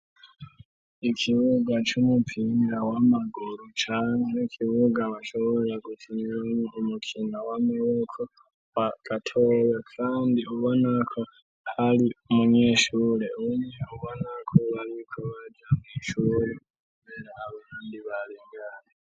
Ikibuga c'umupira wa maguru canke ikibuga washobora gukiniramwo umupira wa maboko katoya kandi ubonako hari umunyeshure umwe ubonako ariko aja mu ishure kubera abandi bararyamye.